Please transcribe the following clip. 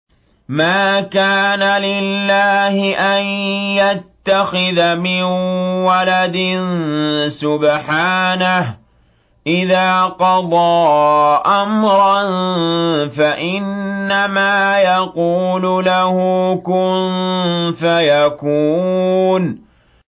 مَا كَانَ لِلَّهِ أَن يَتَّخِذَ مِن وَلَدٍ ۖ سُبْحَانَهُ ۚ إِذَا قَضَىٰ أَمْرًا فَإِنَّمَا يَقُولُ لَهُ كُن فَيَكُونُ